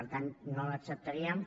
per tant no l’acceptaríem